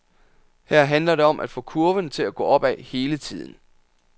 Her handler det om at få kurven til at gå opad hele tiden.